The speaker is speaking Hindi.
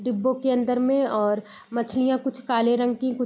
डिब्बों के अन्दर में और मछलियाँ कुछ काले रंग की कु --